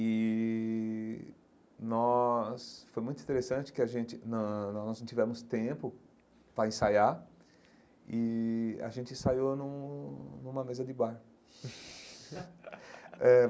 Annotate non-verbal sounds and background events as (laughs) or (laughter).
E nós... foi muito interessante que a gente... nã não nós não tivemos tempo para ensaiar e a gente ensaiou num numa mesa de bar (laughs) eh.